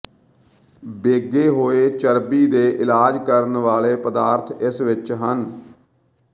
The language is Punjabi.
ਬੈਗੇ ਹੋਏ ਚਰਬੀ ਦੇ ਇਲਾਜ ਕਰਨ ਵਾਲੇ ਪਦਾਰਥ ਇਸ ਵਿੱਚ ਹਨ